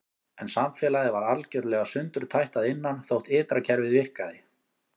En samfélagið var algjörlega sundurtætt að innan þótt ytra kerfið virkaði.